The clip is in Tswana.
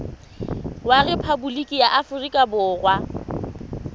wa rephaboliki ya aforika borwa